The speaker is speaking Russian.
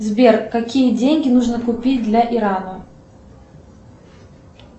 сбер какие деньги нужно купить для ирана